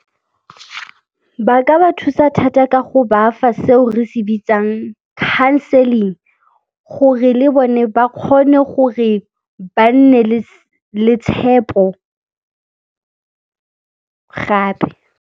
Ba ka ba thusa thata ka go ba fa seo re se bitsang counseling gore le bone ba kgone gore ba nne le tshepo gape.